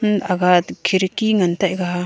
um aga khirki ngan taega.